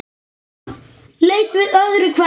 Leit við öðru hverju.